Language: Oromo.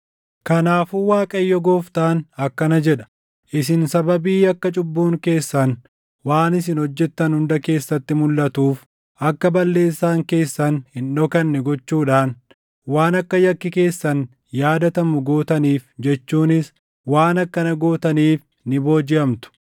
“Kanaafuu Waaqayyo Gooftaan akkana jedha: ‘Isin sababii akka cubbuun keessan waan isin hojjettan hunda keessatti mulʼatuuf, akka balleessaan keessan hin dhokanne gochuudhaan waan akka yakki keessan yaadatamu gootaniif jechuunis waan akkana gootaniif ni boojiʼamtu.